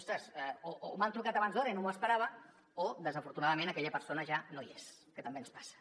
ostres m’han trucat abans d’hora i no m’ho espera·va o desafortunadament aquella persona ja no hi és que també ens passa